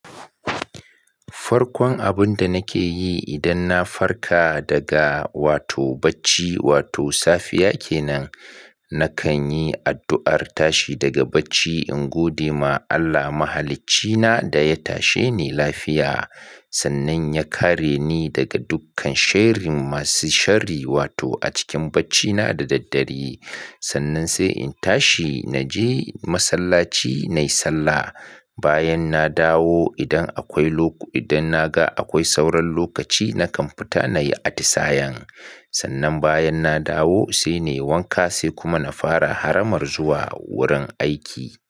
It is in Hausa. Farkon abun da nake yi idan na farka daga bacci, wato safiya kenan, na kan yi addu'ar tashi daga bacci in godema Allah mahaliccina da ya tashe ni lafiya. Sannan ya kare ni daga dukkan sherrin masu sharri wato a cikin bacina da daddare. Sannan sai in tashi na je masallaci na yi sallah. Bayan nadawo idan naga akwai sauran lokaci nakan fita nayi atisayen. Sannan bayan na dawo sainai wanka sai kuma na fara haramar zuwa wurin aiki.